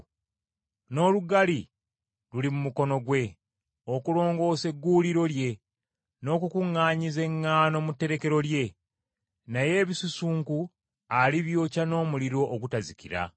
n’olugali luli mu mukono gwe okulongoosa egguuliro lye n’okukuŋŋaanyiza eŋŋaano mu tterekero lye, naye ebisusunku alibyokya n’omuliro ogutazikira.”